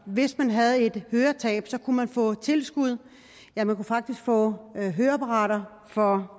hvis man havde et høretab kunne man få tilskud ja man kunne faktisk få høreapparater for